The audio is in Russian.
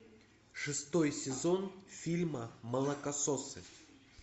шестой сезон фильма молокососы